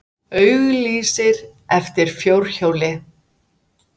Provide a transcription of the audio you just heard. Auglýsir eftir fjórhjóli